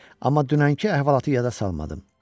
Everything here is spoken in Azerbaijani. Amma dünənki əhvalatı yada salmadım.